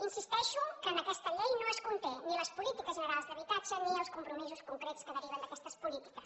insisteixo que aquesta llei no conté ni les polítiques generals d’habitatge ni els compromisos concrets que deriven d’aquestes polítiques